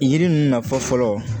Yiri ninnu nafa fɔlɔ